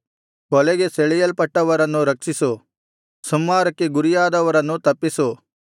ಕೊಲೆಗೆ ಸೆಳೆಯಲ್ಪಟ್ಟವರನ್ನು ರಕ್ಷಿಸು ಸಂಹಾರಕ್ಕೆ ಗುರಿಯಾದವರನ್ನು ತಪ್ಪಿಸು